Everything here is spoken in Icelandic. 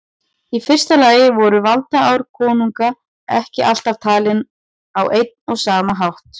Í fyrsta lagi voru valdaár konunga ekki alltaf talin á einn og sama hátt.